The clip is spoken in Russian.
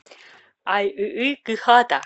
айыы кыхата